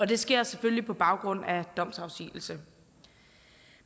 det sker selvfølgelig på baggrund af domsafsigelse